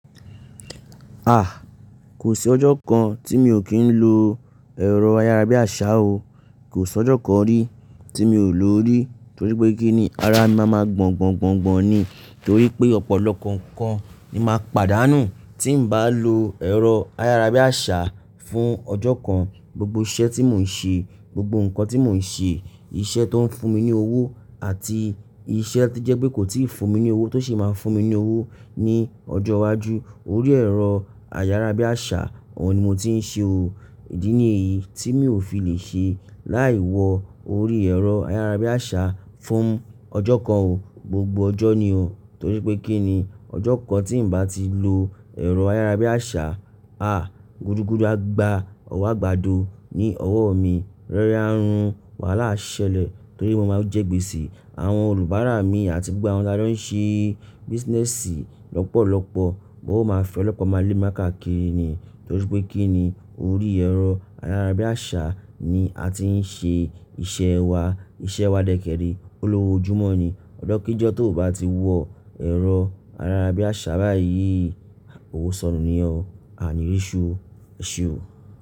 Ah! Kò sí ọjọ́ kan tí mi ò kí ń lo ẹ̀rọ ayárabíàṣá o. Kò sí ọjọ́ kan rí tí mi ò lò ó rí torí pé kí ni ara mi máa ma gbọn, gbọn, gbọn, gbọn ni torí pé ọ̀pọ̀lọpọ̀ nǹkan ni màá pàdánù tí ń bá lo ẹ̀rọ ayárabíàṣá fún ọjọ́ kan. Gbogbo iṣẹ́ tí mò ń ṣe, gbogbo nǹkan tí mò ń ṣe, iṣẹ́ tó ń fún mi ní owó àti iṣẹ́ tí jẹ́ pé kò tíì fún mi ní owó tó sì máa fún mi ní owó ní ọjọ́ iwájú. Orí ẹ̀rọ ayárabíàṣá òun ni mo ti ń ṣe o. Ìdí nìyí tí mi ò fi lè ṣe láì wọ orí ẹ̀rọ ayárabíàṣá fún ọjọ́ kan o. Gbogbo ọjọ́ ni o torí pé kí ni ọjọ́ kan tí ń bá ti lo ẹ̀rọ ayárabíàṣá, ah! Gudu, gudu a gba, ọwọ́ àgbàdo ni ọwọ́ mi. Rẹ́rẹ́ á run, wàhálà á ṣẹlẹ̀ torí mo máa jẹ́ gbèsè. Àwọn olùbárà mi àti gbogbo àwọn tí a jọ ń ṣe business lọ́pọ̀lọpọ̀ wọn ó máa fi ọlọ́pa má lé mi káàkiri ni torí pé kí ni orí ẹ̀rọ ayárabíàṣá ni a ti ń ṣe iṣẹ́ wa. Iṣẹ́ wa dẹ́kẹ́ẹ̀rẹ́, ó lọ́wọ́ ojúmọ́ ni. Ọjọ́ kí jọ́ tó bá ti wọ ẹ̀rọ ayárabíàṣá báyìí, òwò sọnù ni yẹn o. A ní rí ẹsu o ẹ̀ṣeun o.